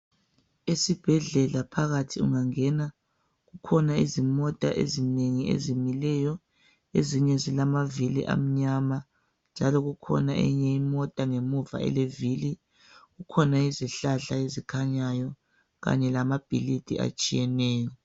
Esibhedlela phakathi ungangena kukhona izimota ezinengi ezimileyo. Ezinye zilamavili amnyama njalo kukhona eyinye imota ngemuva elevili. Kukhona izihlahla ezikhanyayo njalo kanye lamabhilidi atshiyeneyo.